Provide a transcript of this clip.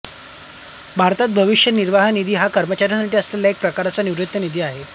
भारतात भविष्य निर्वाह निधी हा कर्मचाऱ्यांसाठी असलेला एक प्रकारचा निवृत्ती निधी आहे